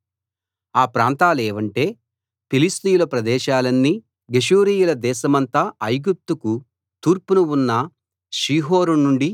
ఆ ప్రాంతాలేవంటే ఫిలిష్తీయుల ప్రదేశాలన్నీ గెషూరీయుల దేశమంతా ఐగుప్తుకు తూర్పున ఉన్న షీహోరు నుండి